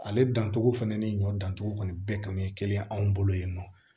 Ale dantogo fɛnɛ ni ɲɔ dan togo kɔni bɛɛ kan bɛ kelen anw bolo yen nɔ